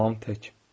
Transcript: Tamam tək.